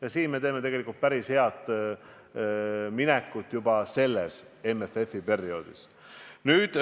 Ja siin me teeme tegelikult juba päris head minekut selles MFF-i läbirääkimiste perioodis.